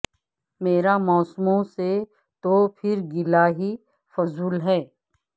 مرا موسموں سے تو پھر گلہ ہی فضول ہے